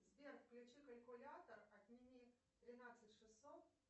сбер включи калькулятор отними тринадцать шестьсот